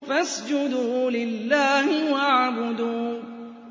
فَاسْجُدُوا لِلَّهِ وَاعْبُدُوا ۩